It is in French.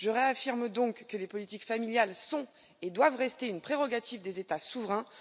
Je réaffirme donc que les politiques familiales sont et doivent rester une prérogative des États souverains.